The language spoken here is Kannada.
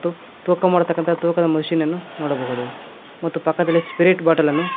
ತೂಕ ಮಾಡತಕಂತ ತೂಕದ ಮಷೀನ್ ಅನ್ನು ನೋಡಬಹುದು ಮತ್ತು ಪಕ್ಕದಲ್ಲಿ ಸ್ಪಿರಿಟ್ ಬಾಟಲನ್ನು--